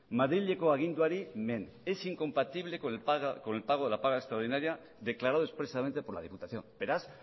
madrileko aginduari men es incompatible con el pago de la paga extraordinario declarado expresamente por la diputación beraz